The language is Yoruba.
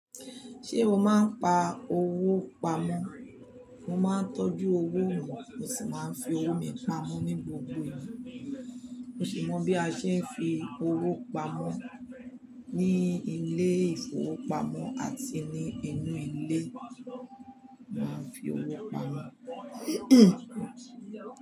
Ṣé o máa ń pa owó pamọ̀? Mo máa ń tọ́jú owó mi, mo sì máa ń fi owó mi pamọ́ ní gbogbo ìgbà. Mo sì mọ bí a ṣe ń fi owó pamọ́ ní ilé ìfowópamọ́ àti ní inú ilé, màá ń fi owó pamọ́.